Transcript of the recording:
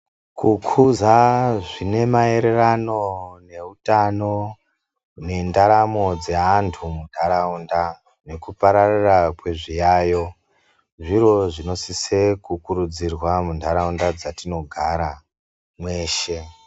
Kukuza zvine maererano neutano nendaramo dzeantu mundaraunda nekupararira kwezviyayo zviro zvinosise kukurudzirwa munharaunda dzatinogara mweshe.